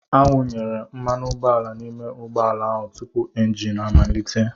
Awụnyere mmanụ ụgbọala n'ime ụgbọ ala ahụ tupu engine amalite.